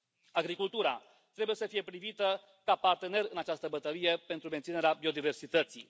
Agricultura trebuie să fie privită ca partener în această bătălie pentru menținerea biodiversității.